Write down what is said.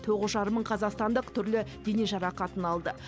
тоғыз жарым мың қазақстандық түрлі дене жарақатын алды